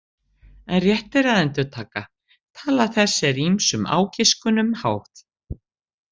En rétt er að endurtaka: tala þessi er ýmsum ágiskunum háð.